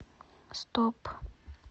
стоп